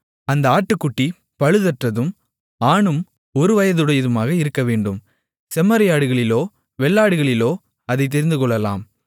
அந்த ஆட்டுக்குட்டி பழுதற்றதும் ஆணும் ஒரு வயதுடையதுமாக இருக்கவேண்டும் செம்மறியாடுகளிலோ வெள்ளாடுகளிலோ அதைத் தெரிந்துகொள்ளலாம்